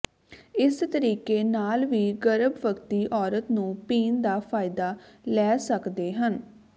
ਇਸ ਤਰੀਕੇ ਨਾਲ ਵੀ ਗਰਭਵਤੀ ਔਰਤ ਨੂੰ ਪੀਣ ਦਾ ਫਾਇਦਾ ਲੈ ਸਕਦੇ ਹਨ